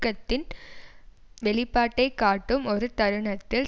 விர்க்தியின் வெளிப்பாட்டை காட்டும் ஒரு தருணத்தில்